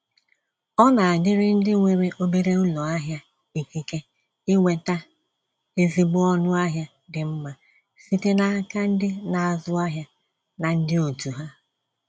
Ọ nadịrị ndị nwere obere ụlọahịa ikike inweta ezigbo ọnụ ahịa dị mma site n'aka ndị na-azụ ahịa na ndị otu ha.